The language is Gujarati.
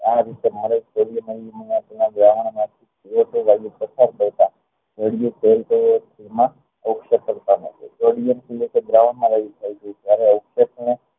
આ રીતે મારે પસાર કરતા